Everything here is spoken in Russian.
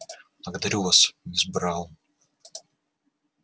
благодарю вас мисс браун